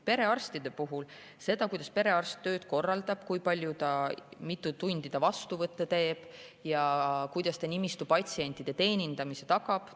Perearstide puhul seda, kuidas perearst oma tööd korraldab, kui palju, mitu tundi ta vastuvõtte teeb ja kuidas ta nimistu patsientide teenindamise tagab, on.